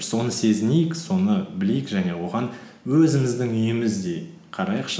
соны сезінейік соны білейік және оған өзіміздің үйіміздей қарайықшы